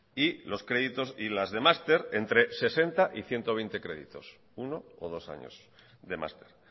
y los créditos y las de máster entre sesenta y ciento veinte créditos uno o dos años de máster